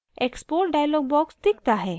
export dialog box दिखता है